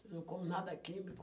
Eu não como nada químico.